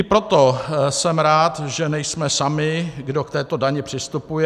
I proto jsem rád, že nejsme sami, kdo k této dani přistupuje.